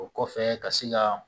O kɔfɛ ka se ka